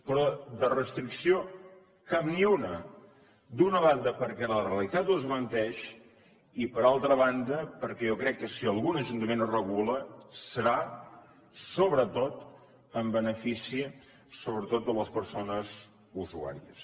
però de restricció cap ni una d’una banda perquè la realitat ho desmenteix i per altra banda perquè jo crec que si algun ajuntament ho regula serà sobretot en benefici sobretot de les persones usuàries